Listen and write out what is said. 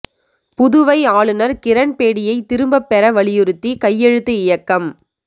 புதுவை ஆளுநா் கிரண் பேடியை திரும்பப் பெற வலியுறுத்தி கையெழுத்து இயக்கம்